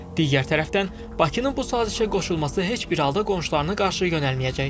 Digər tərəfdən, Bakının bu sazişə qoşulması heç bir halda qonşularına qarşı yönəlməyəcək.